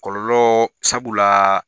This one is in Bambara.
Kɔlɔlɔ sabula